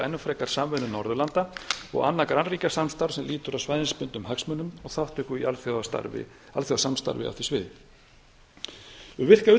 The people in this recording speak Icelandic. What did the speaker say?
enn frekar samvinnu norðurlanda og annað grannríkjasamstarf sem lýtur að svæðisbundnum hagsmunum og þátttöku í alþjóðasamstarfi á því sviði um